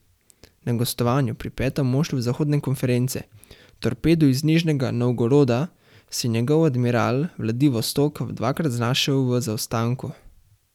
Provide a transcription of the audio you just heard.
Na gostovanju pri petem moštvu zahodne konference Torpedu iz Nižnega Novgoroda se je njegov Admiral Vladivostok dvakrat znašel v zaostanku.